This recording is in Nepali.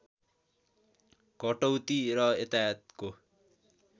कटौती र यातायातको